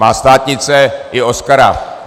Má státnice i Oscara.